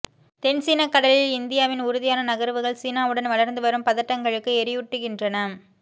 தென் சீனக் கடலில் இந்தியாவின் உறுதியான நகர்வுகள் சீனாவுடன் வளர்ந்து வரும் பதட்டங்களுக்கு எரியூட்டுகின்றன